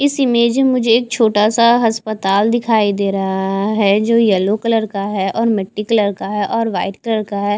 इस इमेज में मुझे एक छोटा सा हस्पताल दिखाई दे रहा है जो येलो कलर का है और मिट्टी कलर का है और वाइट कलर का है।